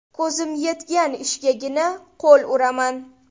Ko‘zim yetgan ishgagina qo‘l uraman.